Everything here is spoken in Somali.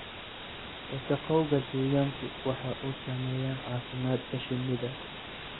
Wasakhowga deegaanku waxa uu saameeyaa caafimaadka shinnida.